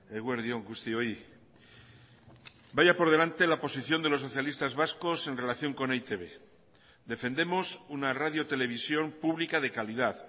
eguerdi on guztioi vaya por delante la posición de los socialistas vascos en relación con e i te be defendemos una radio televisión publica de calidad